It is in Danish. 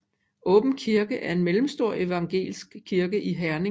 Åbenkirke en mellemstor evangelisk kirke i Herning